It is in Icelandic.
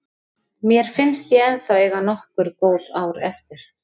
Mér finnst ég ennþá eiga nokkur góð ár eftir.